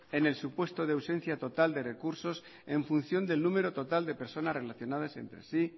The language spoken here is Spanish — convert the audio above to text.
en el supuesto de ausencia total de recursos en función del número total de personas relacionadas entre sí